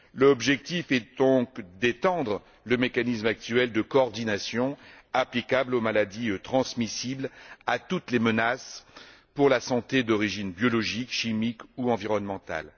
L'objectif est donc d'étendre le mécanisme actuel de coordination applicable aux maladies transmissibles, à toutes les menaces pour la santé d'origine biologique, chimique ou environnementale.